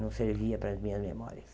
Não servia para as minhas memórias.